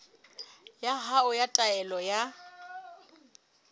ya hao ya taelo ya